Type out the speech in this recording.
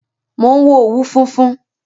Mo ń wo òwú funfun